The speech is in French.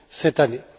cette année.